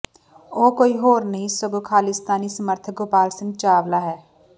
ਉਹ ਕੋਈ ਹੋਰ ਨਹੀਂ ਸਗੋਂ ਖਾਲਿਸਤਾਨੀ ਸਮਰਥਕ ਗੋਪਾਲ ਸਿੰਘ ਚਾਵਲਾ ਹੈ